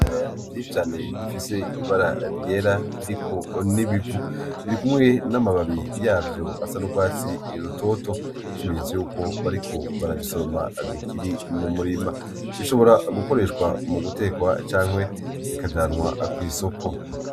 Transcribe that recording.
Ibiraya vyinshi cane bifise ibara ryera biriko n'ibivu, birikumwe n'amababi yavyo asa n'urwatsi rutoto nkikimenyetso yuko bariko barabisoroma bikiri mumurima ,bishobora gukoreshwa mugutekwa canke bikajanwa kw'isoko.